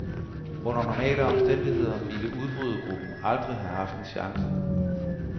Under normale omstændigheder ville udbrydergruppen aldrig have haft en chance.